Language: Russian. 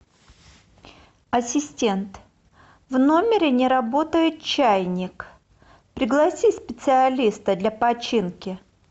ассистент в номере не работает чайник пригласи специалиста для починки